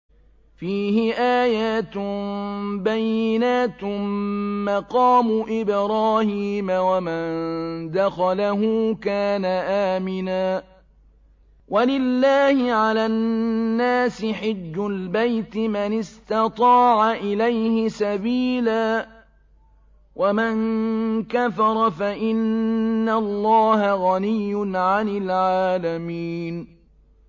فِيهِ آيَاتٌ بَيِّنَاتٌ مَّقَامُ إِبْرَاهِيمَ ۖ وَمَن دَخَلَهُ كَانَ آمِنًا ۗ وَلِلَّهِ عَلَى النَّاسِ حِجُّ الْبَيْتِ مَنِ اسْتَطَاعَ إِلَيْهِ سَبِيلًا ۚ وَمَن كَفَرَ فَإِنَّ اللَّهَ غَنِيٌّ عَنِ الْعَالَمِينَ